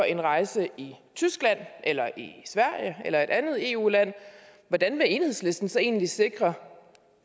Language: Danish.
en rejse i tyskland eller i sverige eller et andet eu land hvordan ville enhedslisten så egentlig sikre